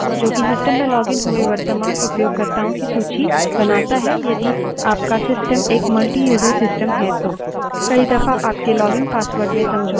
यह असल में who command से आता है जोकि system में लॉगिन हुए वर्त्तमान उपयोगकर्ताओं की सूची बनाता है यदि आपका system एक मल्टीयूज़र system है तो